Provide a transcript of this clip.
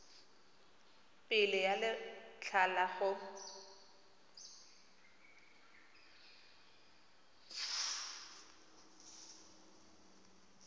pele ga letlha la go